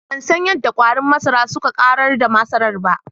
Bansan yadda kwarin masara suka Ƙarar da masarar ba.